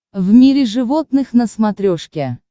в мире животных на смотрешке